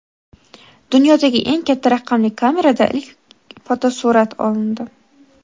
Dunyodagi eng katta raqamli kamerada ilk fotosurat olindi.